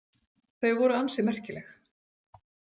Þau voru ansi merkileg.